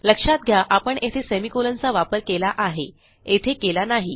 लक्षात घ्या आपण येथे सेमी कोलनचा वापर केला आहे येथे केला नाही